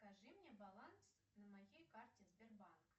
скажи мне баланс на моей карте сбербанк